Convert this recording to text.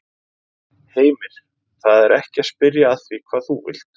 Heimir: Það er ekki að spyrja að því hvað þú vilt?